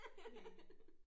Næ